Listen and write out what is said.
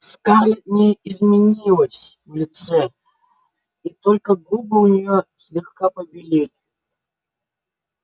скарлетт не изменилась в лице и только губы у нее слегка побелели